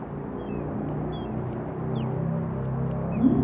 ਹੂ